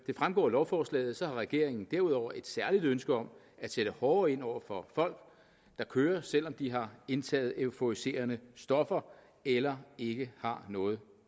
det fremgår af lovforslaget har regeringen derudover et særligt ønske om at sætte hårdere ind over for folk der kører selv om de har indtaget euforiserende stoffer eller ikke har noget